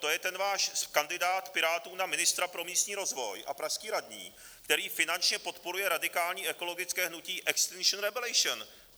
To je ten váš kandidát Pirátů na ministra pro místní rozvoj a pražský radní, který finančně podporuje radikální ekologické hnutí Extinction Rebellion.